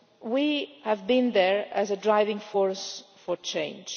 We have been there as a driving force for change.